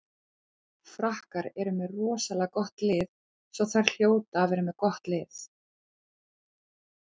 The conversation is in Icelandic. Frakkar eru með rosalega gott lið svo þær hljóta að vera með gott lið.